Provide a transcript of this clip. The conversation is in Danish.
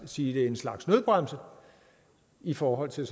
sige slags nødbremse i forhold til